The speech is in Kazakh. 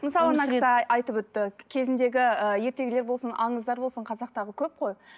мысалы мына кісі айтып өтті кезіндегі ыыы ертегілер болсын аңыздар болсын қазақтағы көп қой